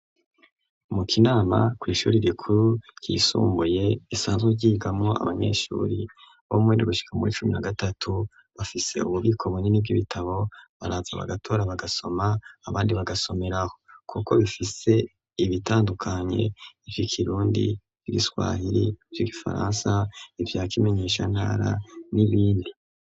Mu kinama kw'ishuri rikuru ryisumbuye isanzwe ryigamo abanyeshuri bo mwendi gushika muri cumi na gatatu bafise ububiko bunini bw'ibitabo baraza bagatora bagasoma abandi bagasomeraho, kuko bifise ibitandukanye ivika irundi v'igiswahiri vy'igifaransa ivyakimenyesha nara n'ibindi.